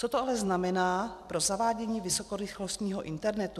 Co to ale znamená pro zavádění vysokorychlostního internetu?